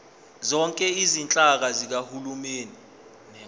zonke izinhlaka zikahulumeni